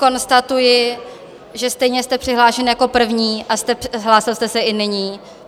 Konstatuji, že stejně jste přihlášen jako první a hlásil jste se i nyní.